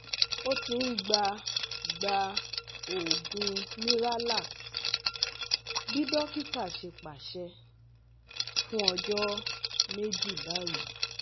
O ti n gba gba oogun Miralax (bi dokita ṣe paṣẹ) fun ọjọ meji bayii